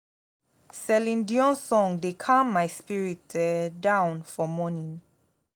celine dion song dey calm my spirit um down for morning